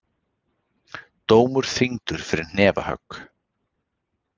Dómur þyngdur fyrir hnefahögg